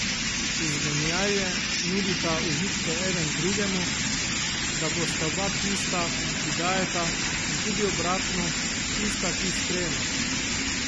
Izmenjaje nudita užitke eden drugemu, da bosta oba tista, ki dajeta, in tudi obratno, tista, ki sprejemata.